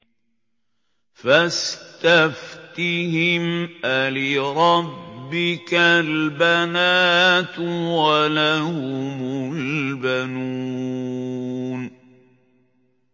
فَاسْتَفْتِهِمْ أَلِرَبِّكَ الْبَنَاتُ وَلَهُمُ الْبَنُونَ